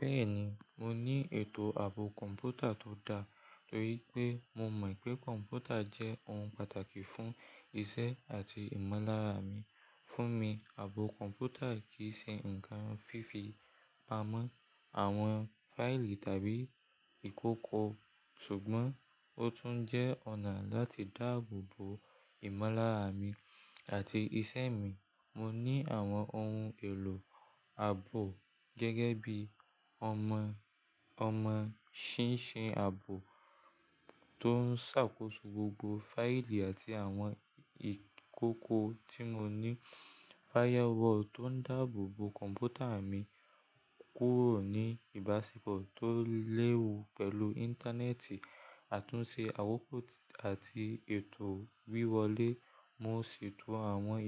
Bẹ́ẹ̀ni, mo ní ètò ààbò kọ̀ǹpútà tó dá, torí pé mo mọ̀ pé kọ̀ǹpútà jẹ́ ohun pàtàkì fún iṣẹ́ àti ìmọ̀lára mi. Fún mi, ààbò kọ̀ǹpútà kì í ṣe ǹkan fífi pamọ́ àwọn fáìlì tàbí ìkókó ṣùgbọ́n ó tún jẹ́ ọ̀nà láti dáàbò bo ìmọ̀lára mi àti iṣẹ́ mi. Mo ní àwọn ohun èlò ààbò gẹ́gẹ́ bí i ọmọ, ọmọ ṣín-ṣin ààbò tó ń ṣàkóso gbogbo fáìlì àti àwọn ìkókó tí mo ní, firewall tó ń dáàbò bo kọ̀ǹpútà mi kúrò ní ìbáṣepọ̀ tó léwu pẹ̀lú Íńtánẹ́ẹ̀tì, àtúnṣe àwòkò àti ètò wíwọlé. Mo sì tún àwọn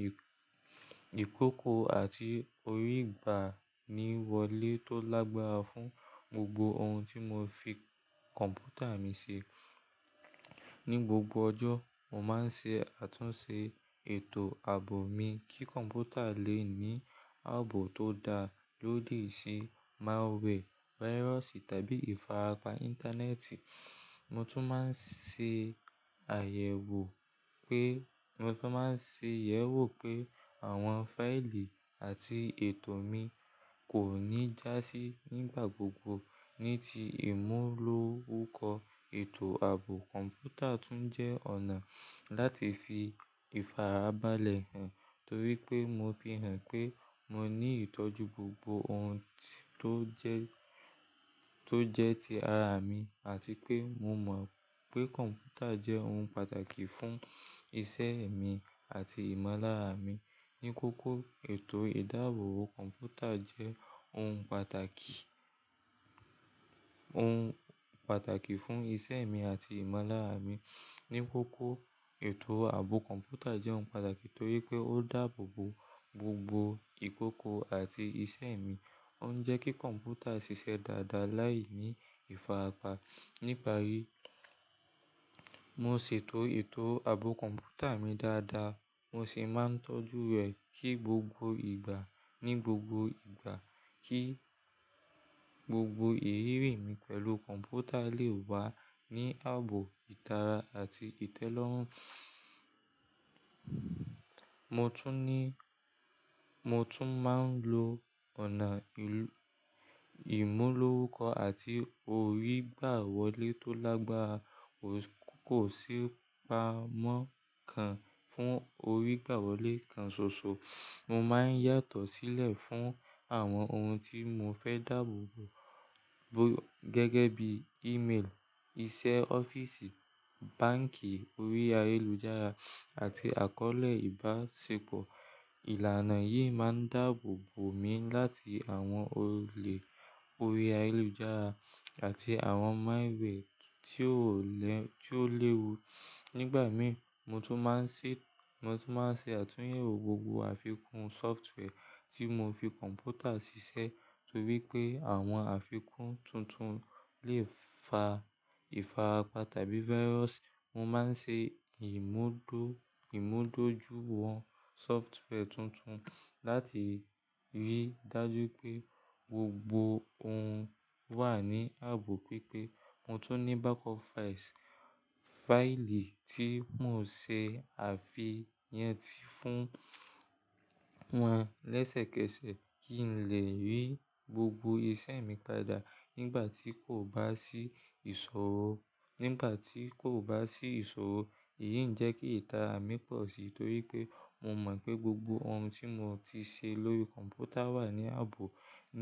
ìkókó àti orí gbàniwọlé tó lágbára fún gbogbo ohun tí mo fi kọ̀ǹpútà mi ṣe. Ni gbogbo ọjọ́, mo máa ń ṣe àtúnṣe ètò ààbò mi kí kọ̀ǹpútà lè ní ààbò tó da lódi se malware, virus tàbí ìfarapa Íńtánẹ́ẹ̀tì. Mo tún máa ń ṣe àyẹ̀wò pé, mo tún máa ń ṣe ìyẹ̀wò pé àwọn fáìlì àti ètò mi kò ní já sí nígbà gbogbo. Ní ti ìmúlò orúkọ ètò ààbò kọ̀ǹpútà tún jẹ́ ọ̀nà láti fi ìfarabalẹ̀ hàn, torí pé mo fi hàn pé mo ní ìtọ́jú gbogbo ohun tí ó jẹ́, tó jẹ́ ti ara mi àti pé mo mọ̀ pé kọ̀ǹpútà jẹ́ ohun pàtàkì fún iṣẹ́ mi àti ìmọ̀lára mi. Ni kókó, ètò ìdáàbò kọ̀ǹpútà jẹ́ ohun pàtàkì, ohun pàtàkì fún iṣẹ́ mi àti ìmọ̀lára mi. Ni kókó, ètò ààbò kọ̀ǹpútà jẹ́ ohun pàtàkì torí pé ó dáàbò bo gbogbo ìkókó àti iṣẹ́ mi. Ó ń jẹ́ kí kọ̀ǹpútà ṣiṣẹ́ dáadáa láìní ìfarapa. Níparí, mo ṣètò ètò ààbò kọ̀ǹpútà mi dáadáa mo sì máa ń tọ́jú rè kí gbogbo ìgbà, ní gbogbo ìgbà kí gbogbo ìrírí mi pẹ̀lú kọ̀ǹpútà lè wá ní ààbò ìtara àti ìtẹ́lọ́rùn. Mo tún ní, mo tún máa ń lo ọ̀nà ìlú, ìmúlò orúkọ àti orí gbàwọlé tó lágbára. Kò sì pamọ́ kan fún orí gbàwọlé kan ṣoṣo. Mo máa ń yàtọ̀ sílẹ̀ fún àwọn ohun tí mo fẹ́ dàbò bo gẹ́gẹ́ bí i-mail, iṣẹ́ ọ́fíìsì, báǹkì orí ayélujára àti àkọ́ọ̀lẹ̀ ìbáṣepọ̀. Ìlànà yìí máa ń dààbò bo mi láti àwọn olè orí ayélujára àti àwọn malware tí ó lẹ́, tí ó léwu. Nígbà mìí, mo tún máa ń ṣe, mo tún máa ń ṣe àtúnyẹ̀wò gbogbo àfikún software tí mo fi kọ̀ǹpútà ṣiṣẹ́ torí pé àwọn àfikún tuntun lè fa ìfarapa tàbí virus. Mo máa ń ṣe ìmúdóju wọn software tuntun láti rí dájú pé gbogbo ohun wà ní ààbò pípé. Mo tún ní backup files, fáìlì tí mò ń ṣe àfihàn ti fún wọn lẹ́sẹ̀kẹsẹ̀ kí ń lè rí gbogbo iṣẹ́ mi padà nígbà tí kò bá sí ìṣòro. Nígbà tí kò bá sí ìṣòro, èyí ń jẹ́ kí ìtara mi pọ̀ sí torí pé mo mọ̀ pé gbogbo ohun tí mo ti ṣe lórí kọ̀ǹpútà wà ní ààbò.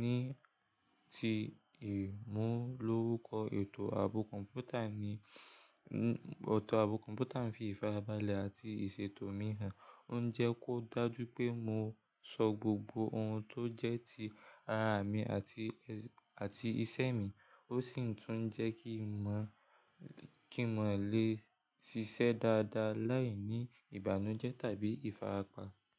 Ní ti ìmúlò orúkọ ètò ààbò kọ̀ǹpútà ni, otọ̀ ààbò kọ̀ǹpútà ń fi ìfarabalẹ̀ àti ìṣètò mi hàn. Ó ń jẹ́ kó dájú pé mo sọ gbogbo ohun tó jẹ́ ti ara mi àti, àti iṣẹ́ mi. Ó sì tún ń jẹ́ kí n mọ̀, kí mo lè ṣiṣẹ́ dáadáa láìní ìbànújẹ́ tàbí ìfarapa.